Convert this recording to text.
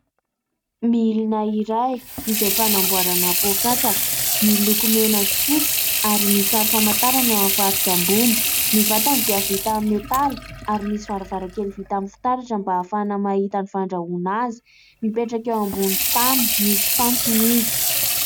Milina iray izay fanamboarana poa-katsaka, miloko mena sy fotsy ary ny sary famantarana eo amin'ny faritra ambony. Ny vatany dia vita amin'ny metaly ary misy varavarankely vita amin'ny fitaratra mba ahafahana mahita ny fandrahoana azy. Mipetraka eo ambony tany, misy fantsona izy.